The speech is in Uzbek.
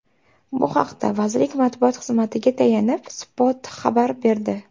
Bu haqda vazirlik matbuot xizmatiga tayanib, Spot xabar berdi .